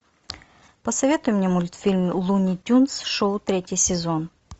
посоветуй мне мультфильм луни тюнз шоу третий сезон